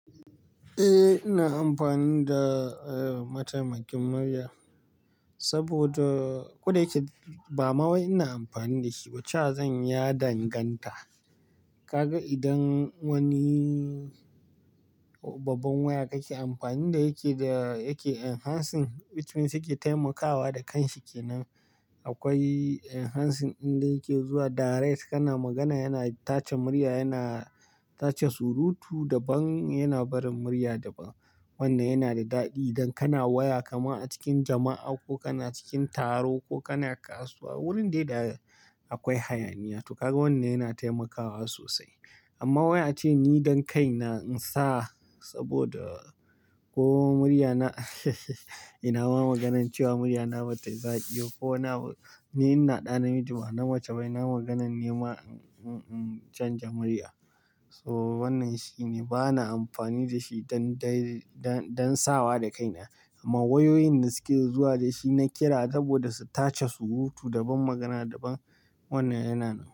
Eh, ina amfani da eh, mataimakin murya saboda ko da yake ba mawai ina amfani da shi, cewa zan yi ya danganta. Ka ga idan wani babban waya kake amfani da yake da yake enhancing, which means yake taimakawa da kanshi kenan. Akwai enhancing ɗinda yake zuwa direct kana magana yana tace murya, yana tace surutu da ban, yana barin murya da ban. Wannan yana da daɗi idan kana waya kama a cikin jama'a ko kana cikin taro ko kana kasuwa, wurin dai da akwai hayaniya. To ka ga wannan yana taimakawa sosai. Amma wai ace ni don kaina in sa saboda ko murya na ina ma ganan cewa murya na ba ta yi zaƙi ko abu. Ni ina ɗa namiji ba na mace bai ina maganan nema in canja murya. So wannan shine bana amfani da shi don dai don, don sawa da kaina. Amma wayoyin da suke zuwa da shi na ƙira saboda su tace surutu da ban magana da ban, wannan yana.